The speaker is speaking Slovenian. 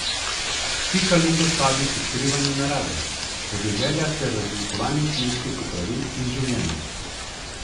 Pika letos vabi k odkrivanju narave, podeželja ter raziskovanju kmečkih opravil in življenja.